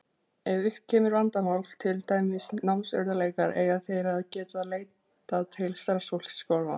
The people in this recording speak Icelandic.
Ef upp kemur vandamál, til dæmis námsörðugleikar, eiga þeir að geta leitað til starfsfólks skólanna.